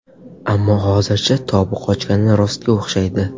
Ammo hozircha tobi qochgani rostga o‘xshaydi.